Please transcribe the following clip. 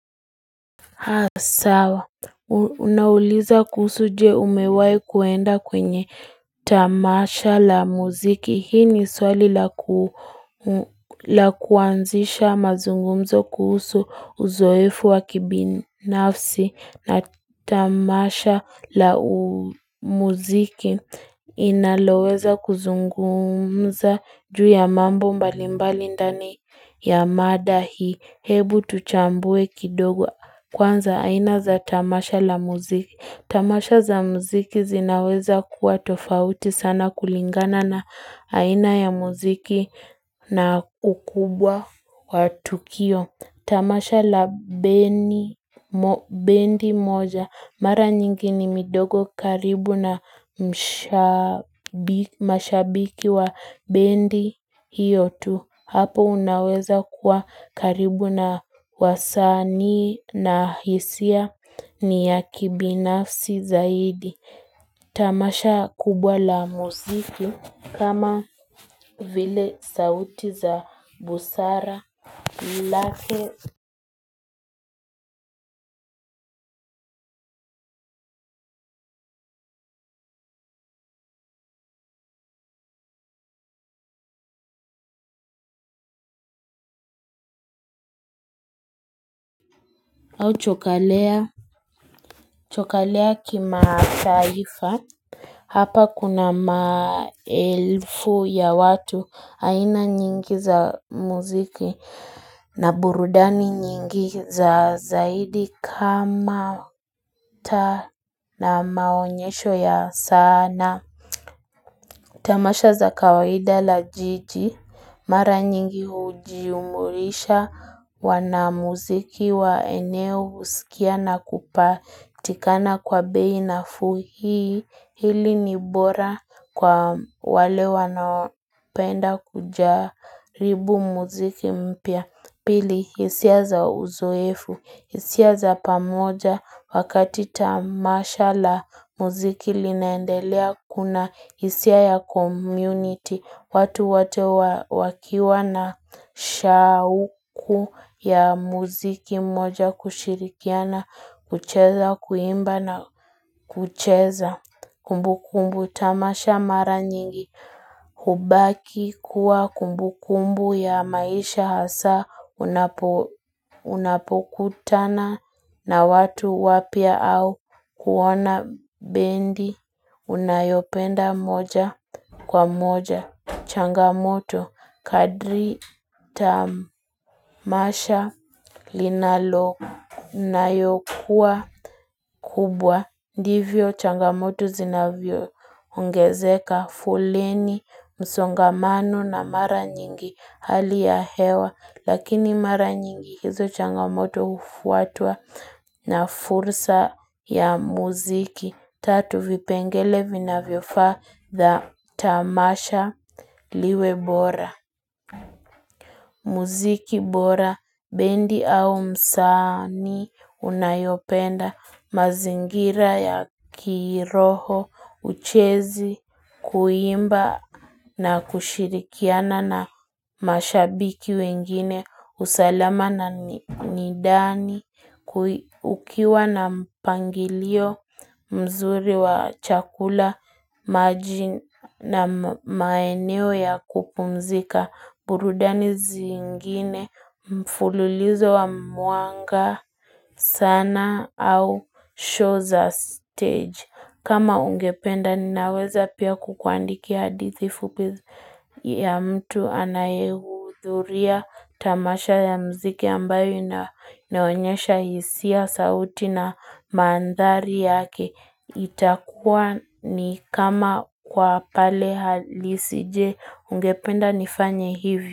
Sawa. Unauliza kuhusu je umewahi kuenda kwenye tamasha la muziki. Hii ni swali la kuanzisha mazungumzo kuhusu uzoefu wa kibinafsi na tamasha la muziki. Inaloweza kuzungumza juu ya mambo mbalimbali ndani ya mada hii. Hebu tuchambue kidogo kwanza aina za tamasha la muziki. Tamasha za muziki zinaweza kuwa tofauti sana kulingana na aina ya muziki na ukubwa wa tukio. Tamasha la bendi moja Mara nyingi ni midogo karibu na mashabiki wa bendi hiyo tu Hapo unaweza kuwa karibu na wasanii na hisia ni ya kibinafsi zaidi Tamasha kubwa la muziki kama vile sauti za busara lake au chokalea Chokalea kimataifa, hapa kuna maelfu ya watu haina nyingi za muziki na burudani nyingi za zaidi kama ta na maonyesho ya sana. Tamasha za kawaida la jiji, mara nyingi hujiumurisha wanamuziki wa eneo husikia na kupaa. Tikana kwa bei nafuu hii, hili ni bora kwa wale wanapenda kujaribu muziki mpya. Pili, hisia za uzoefu, hisia za pamoja wakati tamasha la muziki linaendelea kuna, hisia ya community, watu wote wakiwa na shauku ya muziki moja kushirikiana, kucheza, kuimba na kucheza. Kumbu kumbu tamasha mara nyingi hubaki kuwa kumbu kumbu ya maisha hasa Unapokutana na watu wapya au kuona bendi unayopenda moja kwa moja. Changamoto kadri tamasha linalo Unayokuwa kubwa Ndivyo changamoto zinavyoongezeka, foleni, msongamano na mara nyingi hali ya hewa, lakini mara nyingi hizo changamoto hufuatwa na fursa ya muziki. Tatu, vipengele vinavyofaa tamasha liwe bora Muziki bora Bendi au msanii unayopenda mazingira ya kiroho Uchezi kuimba na kushirikiana na mashabiki wengine usalama na ni ndani Ukiwa na mpangilio mzuri wa chakula na maeneo ya kupumzika burudani zingine mfululizo wa mwanga sanaa au show za steji kama hungependa ninaweza pia kukuandikia hadithi fupi ya mtu anayehudhuria tamasha ya mziki ambayo inaonyesha hisia sauti na mandhari yake itakua ni kama kwa pale halisi. Je, ungependa nifanye hivi?